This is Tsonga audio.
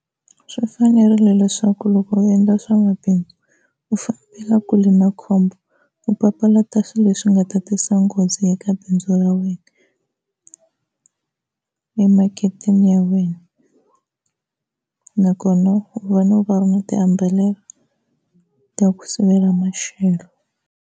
Swi fanerile leswaku loko u endla swa mabindzu u fambela kule na khombo, u papalata swilo leswi nga ta tisa nghozi eka bindzu ra wena emaketeni ya wena nakona ufanele u va u ri na tiamburhela ta ku sivela maxelo.